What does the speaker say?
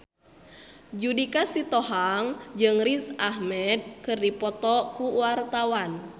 Judika Sitohang jeung Riz Ahmed keur dipoto ku wartawan